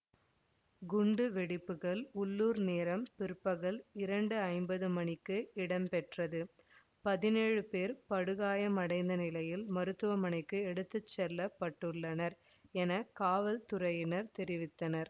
குண்டுவெடிப்புகள் உள்ளூர் நேரம் பிற்பகல் இரண்டு ஐம்பது மணிக்கு இடம்பெற்றது பதினேழு பேர் படுகாயமடைந்த நிலையில் மருத்துவமனைக்கு எடுத்து செல்ல பட்டுள்ளனர் என காவல்துறையினர் தெரிவித்தனர்